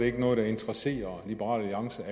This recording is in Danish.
ikke noget der interesserer liberal alliance